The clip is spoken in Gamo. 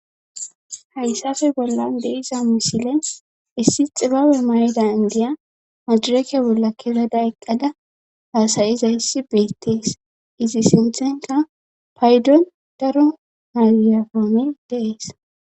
hayssafe bollan de'iza misile issi xibabe mayda indiya madireke bolla kezada eqqada haasayizayissi beettees izi sinthenka paydon daro mayigirafoney de'ees